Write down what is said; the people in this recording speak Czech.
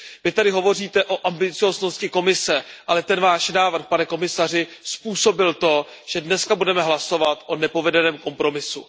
Vy tady hovoříte o ambicióznosti Komise, ale ten návrh, pane komisaři, způsobil to, že dnes budeme hlasovat o nepovedeném kompromisu.